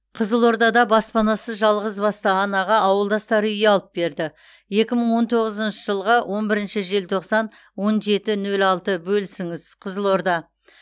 қызылордада баспанасыз жалғызбасты анаға ауылдастары үй алып берді екі мың он тоғызыншы жылғы он бірінші желтоқсан он жеті нөл алты бөлісіңіз қызылорда